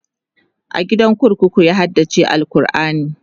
a gidan kurkuku ya haddace alQurani